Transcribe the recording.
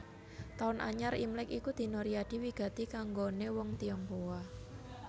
Taun Anyar Imlèk iku dina riyadi wigati kanggoné wong Tionghoa